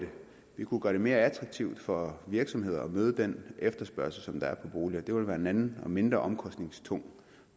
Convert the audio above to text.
vi kunne gøre det mere attraktivt for virksomhederne at møde den efterspørgsel der er for boliger det ville være en anden og mindre omkostningstung